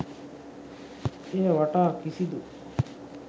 එය වටා කිසිදු